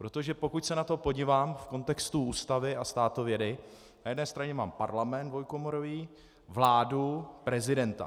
Protože pokud se na to podívám v kontextu Ústavy a státovědy, na jedné straně mám Parlament dvoukomorový, vládu, prezidenta.